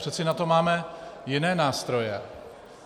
Přece na to máme jiné nástroje.